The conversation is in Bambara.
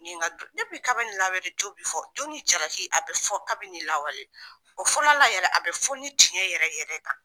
Nin ka kabini lawale, jo bi fɔ, jo ni jalaki a bɛ fɔ kabini lawale, ɔ fɔlɔ la yɛrɛ , a bɛ fɔ ni tiɲɛɲ yɛrɛ yɛrɛ kan.